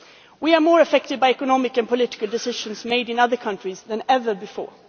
We are more affected by economic and political decisions made in other countries than ever before.